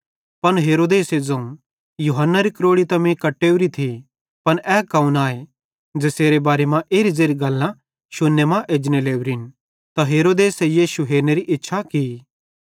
पन हेरोदेसे ज़ोवं यूहन्नारी क्रोड़ी त मीं कट्टेव्री थी पन ए कौन आए ज़ेसेरे बारे मां एरी ज़ेरि गल्लां शुन्ने मां एजने लोरिन ते हेरोदेस यीशु हेरनेरी इच्छा की